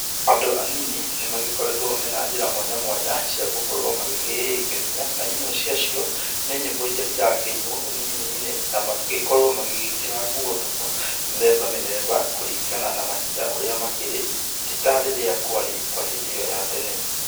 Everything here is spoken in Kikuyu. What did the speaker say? Andũ anini nĩ magĩkoretwo mena njĩra mwanya mwanya cia gũkorwo magĩgĩkenia, na imwe ciacio, nĩ nyĩmbo iria irakĩinwo ũnini-inĩ na magagĩkorwo magĩĩkĩra nguo mĩthemba mĩthemba, kũringana na mahinda ũrĩa makĩri, ti ta rĩrĩa kwarĩ kwa hĩndĩ ĩyo ya tene.